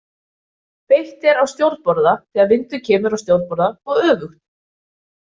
Beitt er á stjórnborða þegar vindur kemur á stjórnborða og öfugt.